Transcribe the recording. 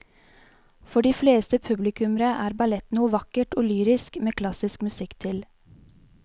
For de fleste publikummere er ballett noe vakkert og lyrisk med klassisk musikk til.